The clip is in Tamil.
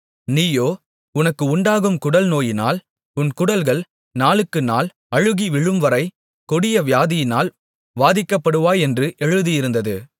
நீயோ உனக்கு உண்டாகும் குடல் நோயினால் உன் குடல்கள் நாளுக்கு நாள் அழுகி விழும்வரை கொடிய வியாதியினால் வாதிக்கப்படுவாய் என்று எழுதியிருந்தது